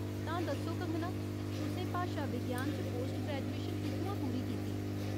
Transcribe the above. तां, दस्सो कंगना, तुसें भाशा विज्ञान च पोस्ट ग्रेजुएशन कु'त्थुआं पूरी कीती ?